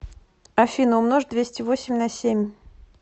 афина умножь двести восемь на семь